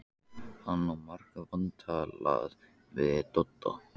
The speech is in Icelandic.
Hann á margt vantalað við Dodda.